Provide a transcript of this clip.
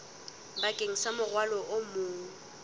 bakeng sa morwalo o mong